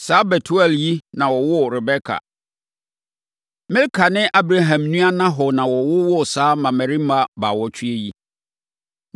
Saa Betuel yi na ɔwoo Rebeka. Milka ne Abraham nua Nahor na wɔwowoo saa mmammarima baawɔtwe yi.